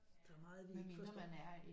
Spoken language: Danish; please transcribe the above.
Der er meget vi ikke forstår